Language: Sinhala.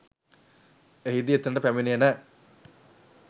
එහිදී එතනට පැමිණෙන